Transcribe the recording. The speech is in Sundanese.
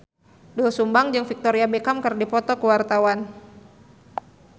Doel Sumbang jeung Victoria Beckham keur dipoto ku wartawan